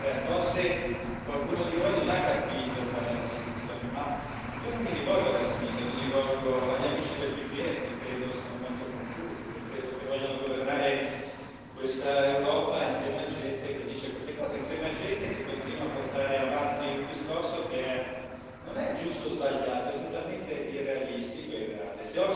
73. Forse qualcuno di voi non ha capito qual è la soluzione, ma io non mi rivolgo alla sinistra, mi rivolgo agli amici del PPE che credo siano molto confusi, che credo che vogliano governare questa Europa insieme a gente che dice queste cose, insieme a gente che continua a portare avanti un discorso che non è giusto o sbagliato, è totalmente irrealistico e irreale.